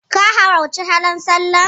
Ka halarci hawan sallar?